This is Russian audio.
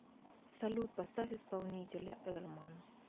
салют поставь исполнителя эльман